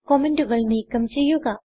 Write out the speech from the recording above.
കമന്റുകൾ നീക്കം ചെയ്യുക